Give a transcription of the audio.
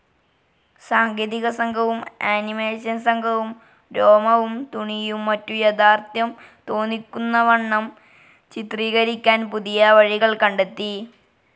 സാങ്കേതികസംഘവും animation സംഘവും രോമവും തുണിയും മറ്റും യാഥാർഥ്യം തോന്നിക്കുന്നവണ്ണം ചിത്രീകരിക്കാൻ പുതിയ വഴികൾ കണ്ടെത്തി.